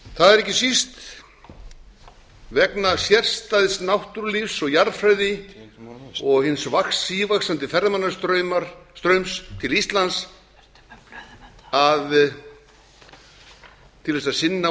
það er ekki síst vegna sérstæðs náttúrulífs og jarðfræði og hins sívaxandi ferðamannastraums til íslands til þess að sinna